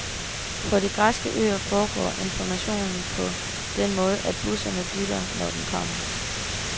På de græske øer foregår informationen på den måde, at bussen dytter, når den kommer.